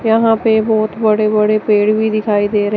यहां पे बहोत बड़े बड़े पेड़ भी दिखाई दे रहे--